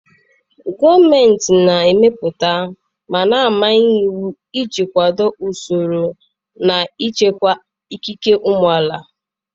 Gọọmenti na-emepụta ma na-amanye iwu iji kwado usoro na ichekwa ikike ụmụ amaala